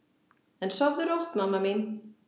En sofðu rótt, mamma mín.